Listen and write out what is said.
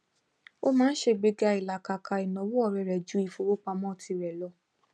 ó máa ń ṣe gbéga ìlàkàkà ìnáwó ọrẹ rẹ jú ìfowópamọ tirẹ lọ